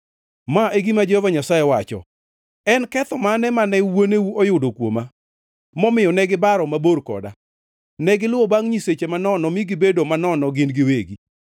Ma e gima Jehova Nyasaye wacho: “En ketho mane mane wuoneu oyudo kuoma, momiyo ne gibaro mabor koda? Negiluwo bangʼ nyiseche manono mi gibedo manono gin giwegi.